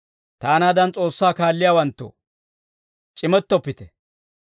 Taanaadan S'oossaa kaalliyaawanttoo, c'imettoppite.